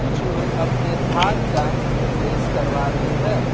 कुछ लोग अपने धान का थ्रेस करवा रहे हैं।